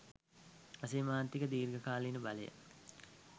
අසීමාන්තික. දීර්ඝ කාලීන බලය